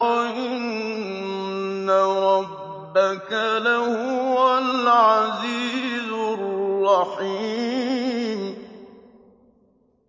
وَإِنَّ رَبَّكَ لَهُوَ الْعَزِيزُ الرَّحِيمُ